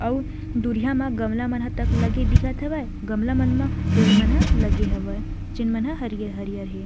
अऊ दुरहिया म गमला मन ह तक लगे दिखत हवय गमला मन म पेड़ मन ह लगे हवय जेन ह हरियर-हरिय हे। नॉइज़